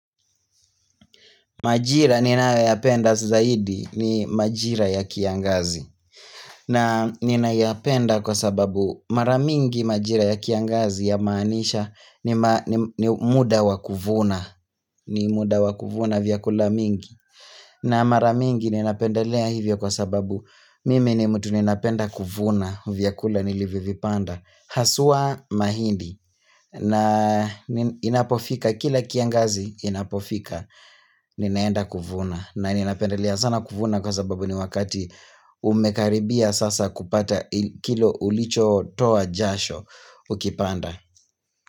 Majira ninayoyapenda zaidi ni majira ya kiangazi na ninayapenda kwa sababu maramingi majira ya kiangazi ya maanisha ni muda wakuvuna ni muda wakuvuna vyakula mingi na maramingi ninapendelea hivyo kwa sababu mimi ni mtu ninapenda kuvuna vyakula nilivyovipanda hasua mahindi na inapofika kila kiangazi inapofika Ninaenda kuvuna na ninapendele sana kuvuna kwa sababu ni wakati umekaribia sasa kupata kile ulicho toa jasho ukipanda.